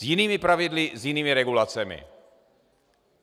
S jinými pravidly, s jinými regulacemi.